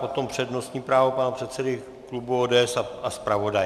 Potom přednostní právo pana předsedy klubu ODS a zpravodaje.